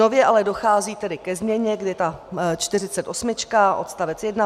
Nově ale dochází tedy ke změně, kdy ta 48 odst.